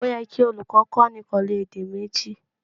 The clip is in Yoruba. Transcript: Ó yẹ kí olùkó kó ni pèlú èdè méjì